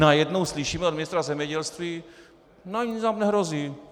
Najednou slyšíme od ministra zemědělství ne, nic nám nehrozí.